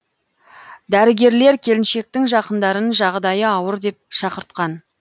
дәрігерлер келіншектің жақындарын жағдайы ауыр деп шақыртқан